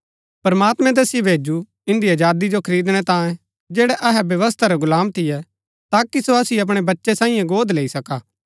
प्रमात्मैं तैसिओ भैजु इन्दी अजादी जो खरीदणै तांये जैड़ै अहै व्यवस्था रै गुलाम थियै ताकि सो असिओ अपणै बच्चै सांईये गोद लैई सका